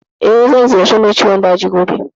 Eh, zan ziyarci mai ciwon daji gobe.